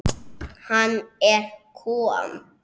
Hann er kom